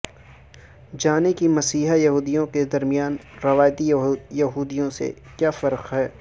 جانیں کہ مسیحی یہودیوں کے درمیان روایتی یہودیوں سے کیا فرق ہے